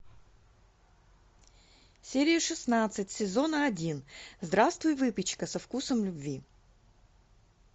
серия шестнадцать сезона один здравствуй выпечка со вкусом любви